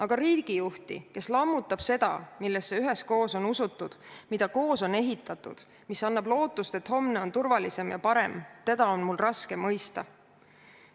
Aga riigijuhti, kes lammutab seda, millesse üheskoos on usutud, mida koos on ehitatud ja mis annab lootust, et homne on turvalisem ja parem, teda on mul raske mõista.